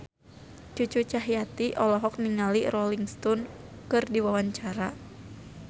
Cucu Cahyati olohok ningali Rolling Stone keur diwawancara